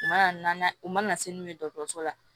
U mana na u mana se n'u ye dɔgɔtɔrɔso la